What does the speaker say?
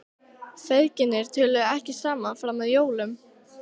Feðginin töluðu ekki saman fram að jólum.